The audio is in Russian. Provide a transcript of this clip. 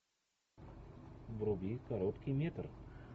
вруби короткий метр